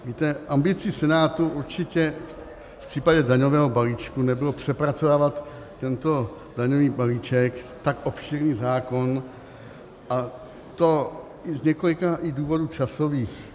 Víte, ambicí Senátu určitě v případě daňového balíčku nebylo přepracovávat tento daňový balíček, tak obšírný zákon, a to z několika důvodů i časových.